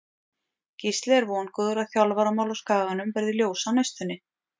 Gísli er vongóður að þjálfaramál á Skaganum verði ljós á næstunni.